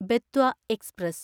Betwa express